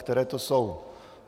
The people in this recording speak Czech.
Které to jsou?